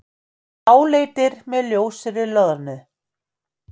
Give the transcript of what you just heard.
Bláleitir með ljósri loðnu.